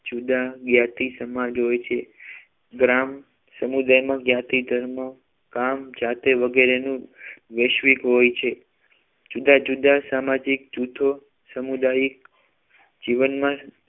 જુદા જ્ઞાતિ સમાજ હોય છે ગ્રામ સમુદાયમાં જ્ઞાતિ ધર્મ કામ જાતે વગેરે વૈશ્વિક હોય છે જુદા જુદા સામાજિક જૂથો સામુદાયિક જીવન